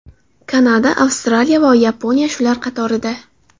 Kanada, Avstraliya va Yaponiya shular qatorida.